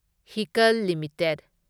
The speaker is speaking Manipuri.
ꯍꯤꯀꯜ ꯂꯤꯃꯤꯇꯦꯗ